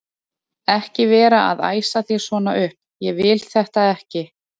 ekki vera að æsa þig svona upp. ég vil þetta ekki!